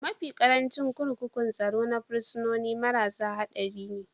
Mafi ƙarancin kurkukun tsaro na fursunoni marasa haɗari ne